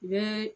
U bɛ